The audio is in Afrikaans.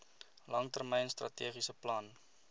langtermyn strategiese plan